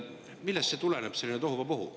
Millest selline tohuvabohu tuleneb?